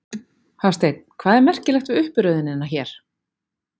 Hafsteinn: Hvað er merkilegt við uppröðunina hérna?